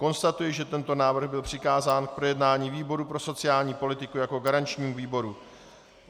Konstatuji, že tento návrh byl přikázán k projednání výboru pro sociální politiku jako garančnímu výboru.